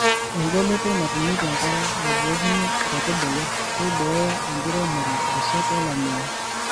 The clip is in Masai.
Engoloto natumieki enkare nabukokini nkaitubulu keiboyo enkiremore rishat olameyu.